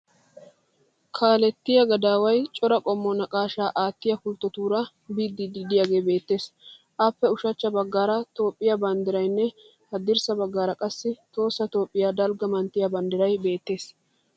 Kaalettiya gadaaway cora qommo naqaashshaa aattiya pulttotuura biddiiddi de'iyagee beettees. Appe ushachcha baggaara Toophphiya banddirayinne haddirssa baggaara qassi Tohossa Toophphiya daligga manttiyan banddiray beettees.